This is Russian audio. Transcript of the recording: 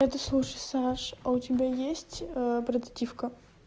это слушай саш а у тебя есть прототивка